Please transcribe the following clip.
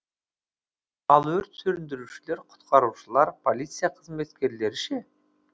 ал өрт сөндірушілер құтқарушылар полиция қызметкерлері ше